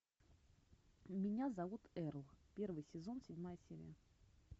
меня зовут эрл первый сезон седьмая серия